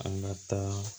An ka taa